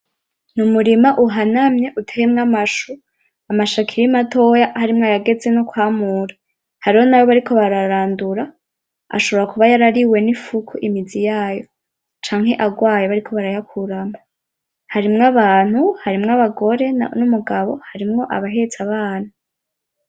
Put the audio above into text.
N'umurima uhanamye uteyemwo amashu, amashu akiri matoya harimwo ayageze nko kwamura, hariho nayo bariko bararandura ashobora kuba yarariwe n'imfuku imizi yayo canke agwaye bariko barayakuramwo, harimwo abantu; harimwo abagore; n'umugabo; harimwo abahetse abana.